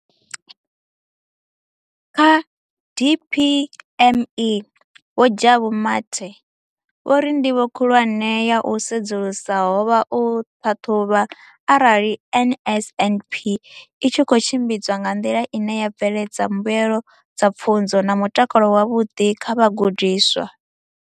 Kha DPME, Vho Jabu Mathe, vho ri ndivho khulwane ya u sedzulusa ho vha u ṱhaṱhuvha arali NSNP i tshi khou tshimbidzwa nga nḓila ine ya bveledza mbuelo dza pfunzo na mutakalo wavhuḓi kha vhagudiswa.